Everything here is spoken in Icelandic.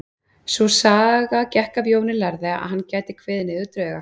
Sú saga gekk af Jóni lærða að hann gæti kveðið niður drauga.